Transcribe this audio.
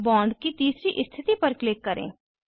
bond की तीसरी स्थिति पर क्लिक करें